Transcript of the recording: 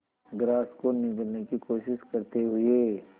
grass को निगलने की कोशिश करते हुए